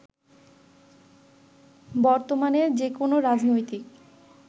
বর্তমানে যেকোনো রাজনৈতিক